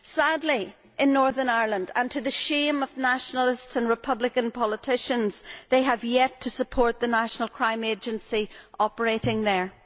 Sadly, in Northern Ireland, to the shame of nationalists and republican politicians, they have yet to support the National Crime Agency operating there.